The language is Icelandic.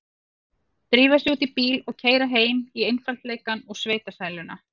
Drífa sig út í bíl og keyra heim í einfaldleikann og sveitasæluna.